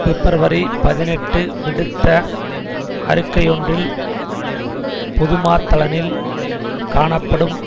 பிப்ரவரி பதினெட்டு விடுத்த அறிக்கையொன்றில் புதுமாத்தளனில் காணப்படும்